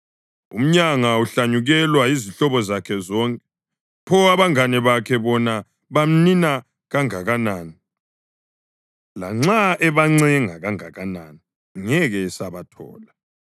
Umyanga uhlanyukelwa yizihlobo zakhe zonke, pho abangane bakhe bona bamnina kangakanani! Lanxa ebancenga kangakanani, ngeke esabathola.